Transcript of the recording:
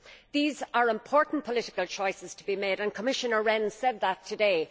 These are important political choices to be made and Commissioner Rehn has said that today.